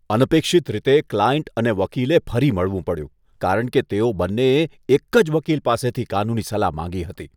અનપેક્ષિત રીતે, ક્લાયન્ટ અને વકીલે ફરી મળવું પડ્યું, કારણ કે તેઓ બંનેએ એક જ વકીલ પાસેથી કાનૂની સલાહ માંગી હતી.